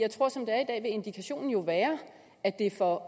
er indikationen jo være at det for